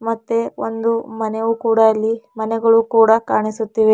ಮತ್ತೆ ಒಂದು ಮನೆವು ಕೂಡ ಇಲ್ಲಿ ಮನೆಗಳು ಕೂಡ ಕಾಣಿಸುತ್ತಿವೆ.